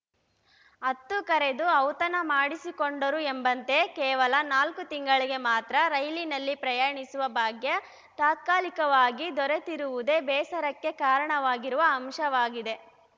ಹತ್ತು ಕರೆದು ಔತಣ ಮಾಡಿಸಿಕೊಂಡರು ಎಂಬಂತೆ ಕೇವಲ ನಾಲ್ಕು ತಿಂಗಳಿಗೆ ಮಾತ್ರ ರೈಲಿನಲ್ಲಿ ಪ್ರಯಾಣಿಸುವ ಭಾಗ್ಯ ತಾತ್ಕಾಲಿಕವಾಗಿ ದೊರೆತಿರುವುದೇ ಬೇಸರಕ್ಕೆ ಕಾರಣವಾಗಿರುವ ಅಂಶವಾಗಿದೆ